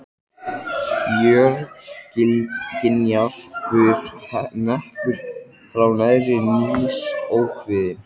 Fjörgynjar bur neppur frá naðri níðs ókvíðinn.